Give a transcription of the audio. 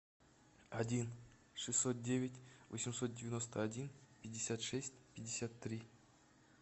один шестьсот девять восемьсот девяносто один пятьдесят шесть пятьдесят три